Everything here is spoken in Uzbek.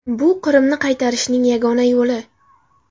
Bu Qrimni qaytarishning yagona yo‘li”.